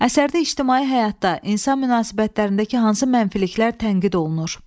Əsərdə ictimai həyatda, insan münasibətlərindəki hansı mənfiliklər tənqid olunur?